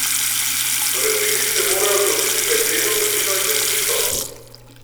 V resnici se morajo odločiti med levo sredino in desnico!